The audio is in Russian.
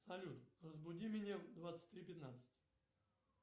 салют разбуди меня в двадцать три пятнадцать